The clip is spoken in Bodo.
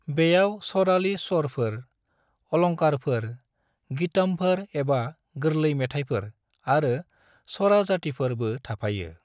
बेयाव सराली स्वरफोर, अलंकारफोर, गीतमफोर एबा गोरलै मेथायफोर, आरो स्वराजातिफोर बो थाफायो।